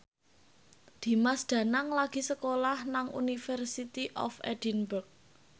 Dimas Danang lagi sekolah nang University of Edinburgh